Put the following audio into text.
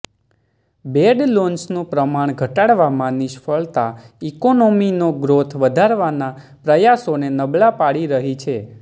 bed લોન્સનું પ્રમાણ ઘટાડવામાં નિષ્ફળતા ઇકોનોમીનો ગ્રોથ વધારવાના પ્રયાસોને નબળા પાડી રહી છે